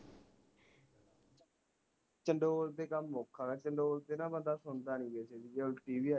ਚੰਡੋਲ ਤੇ ਕੰਮ ਔਖਾ ਚੰਡੋਲ ਤੇ ਨਾ ਬੰਦਾ ਸੁਣਦਾ ਨੀ ਕਿਸੇ ਦੀ ਜੇ ਉਲਟੀ ਵੀ ਆ ਜੇ ਨਾ